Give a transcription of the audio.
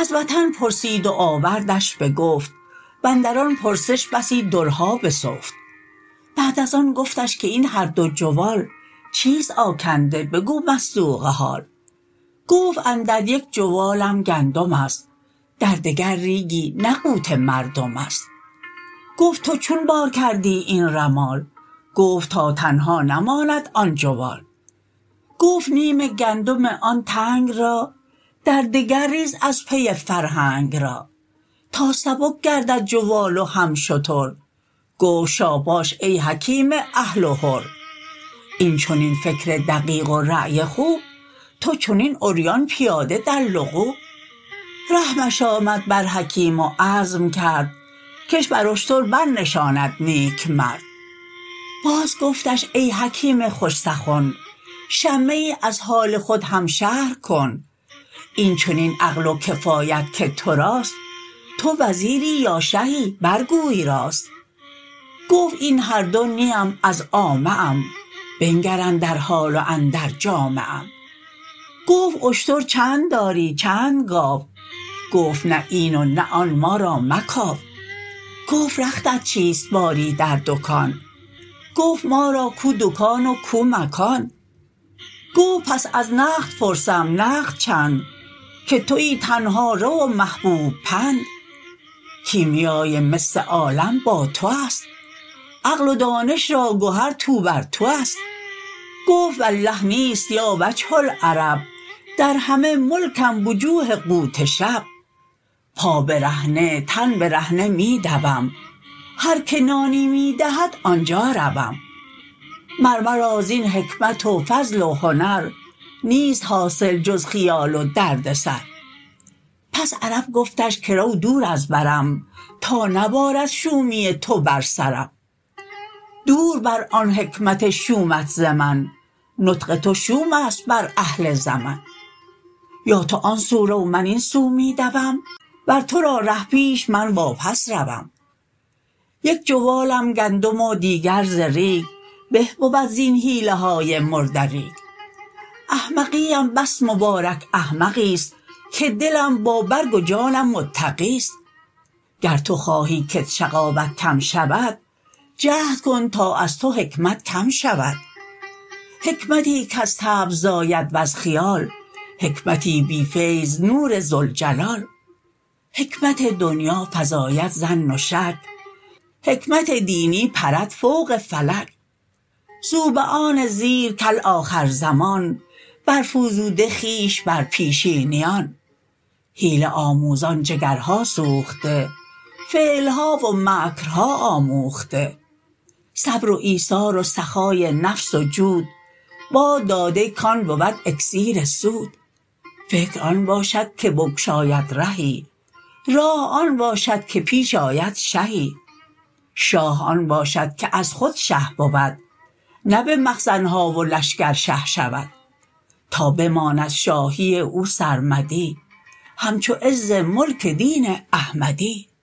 از وطن پرسید و آوردش بگفت واندر آن پرسش بسی درها بسفت بعد از آن گفتش که این هر دو جوال چیست آکنده بگو مصدوق حال گفت اندر یک جوالم گندمست در دگر ریگی نه قوت مردمست گفت تو چون بار کردی این رمال گفت تا تنها نماند آن جوال گفت نیم گندم آن تنگ را در دگر ریز از پی فرهنگ را تا سبک گردد جوال و هم شتر گفت شاباش ای حکیم اهل و حر این چنین فکر دقیق و رای خوب تو چنین عریان پیاده در لغوب رحمش آمد بر حکیم و عزم کرد کش بر اشتر بر نشاند نیک مرد باز گفتش ای حکیم خوش سخن شمه ای از حال خود هم شرح کن این چنین عقل و کفایت که توراست تو وزیری یا شهی بر گوی راست گفت این هر دو نیم از عامه ام بنگر اندر حال و اندر جامه ام گفت اشتر چند داری چند گاو گفت نه این و نه آن ما را مکاو گفت رختت چیست باری در دکان گفت ما را کو دکان و کو مکان گفت پس از نقد پرسم نقد چند که توی تنهارو و محبوب پند کیمیای مس عالم با تو است عقل و دانش را گهر توبرتو است گفت والله نیست یا وجه العرب در همه ملکم وجوه قوت شب پا برهنه تن برهنه می دوم هر که نانی می دهد آنجا روم مر مرا زین حکمت و فضل و هنر نیست حاصل جز خیال و درد سر پس عرب گفتش که رو دور از برم تا نبارد شومی تو بر سرم دور بر آن حکمت شومت ز من نطق تو شومست بر اهل زمن یا تو آن سو رو من این سو می دوم ور تو را ره پیش من وا پس روم یک جوالم گندم و دیگر ز ریگ به بود زین حیله های مرده ریگ احمقی ام بس مبارک احمقیست که دلم با برگ و جانم متقیست گر تو خواهی کت شقاوت کم شود جهد کن تا از تو حکمت کم شود حکمتی کز طبع زاید وز خیال حکمتی بی فیض نور ذوالجلال حکمت دنیا فزاید ظن و شک حکمت دینی پرد فوق فلک زوبعان زیرک آخر زمان بر فزوده خویش بر پیشینیان حیله آموزان جگرها سوخته فعلها و مکرها آموخته صبر و ایثار و سخای نفس و جود باد داده کان بود اکسیر سود فکر آن باشد که بگشاید رهی راه آن باشد که پیش آید شهی شاه آن باشد که از خود شه بود نه به مخزنها و لشکر شه شود تا بماند شاهی او سرمدی همچو عز ملک دین احمدی